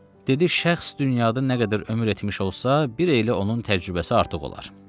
Dedi: "Şəxs dünyada nə qədər ömür etmiş olsa, bir elə onun təcrübəsi artıq olar."